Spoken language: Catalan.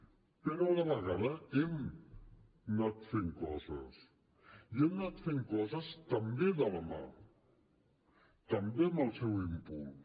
però a la vegada hem anat fent coses i hem anat fent coses també de la mà també amb el seu impuls